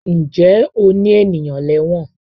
Ǹjẹ́ o ní ènìyàn lẹ́wọ̀n?